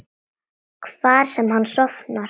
Hvar sem hann sofnar.